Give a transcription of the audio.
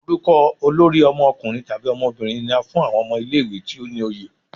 Orukọ olori ọmọkunrin tabi ọmọbirin ni á fún awọn ọmọ ile-iwe ti o ni oye.